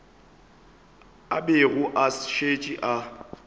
a bego a šetše a